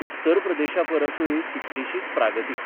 उत्तर प्रदेशापरसूय कितलीशीच 'प्रागतीक '.